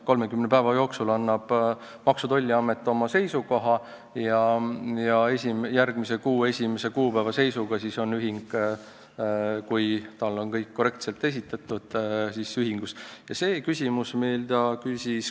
30 päeva jooksul annab Maksu- ja Tolliamet oma seisukoha ja järgmise kuu esimese kuupäeva seisuga on ühing, kui tal on kõik vajalik korrektselt esitatud, nimekirjas.